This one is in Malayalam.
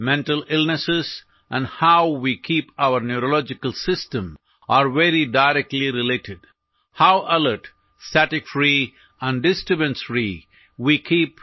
മാനസികാസ്വാസ്ഥ്യങ്ങളും നമ്മുടെ ന്യൂറോളജിക്കൽ സംവിധാനത്തെ നാം എങ്ങനെ നിലനിർത്തുന്നു എന്നതും നേരിട്ടു ബന്ധപ്പെട്ടിരിക്കുന്നു